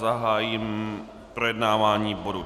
Zahájím projednávání bodu